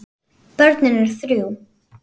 Börnin eru þrjú.